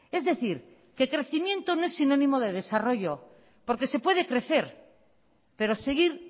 es decir que crecimiento no es sinónimo de desarrollo porque se puede crecer pero seguir